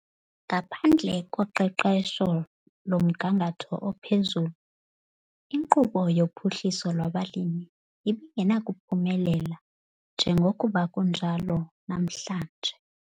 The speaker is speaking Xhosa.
Ngaphandle koqeqesho lomgangatho ophezulu, iNkqubo yoPhuhliso lwabaLimi ibingenakuphumelela njengokuba kunjalo namhlanje.